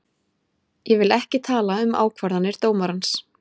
Ég vil ekki tala um ákvarðanir dómarans.